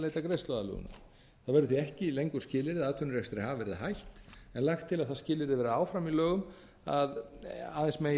leita greiðsluaðlögunar það verður því ekki lengur skilyrði að atvinnurekstri hafi verið hætt en lagt til að það skilyrði verði áfram í lögum að aðeins megi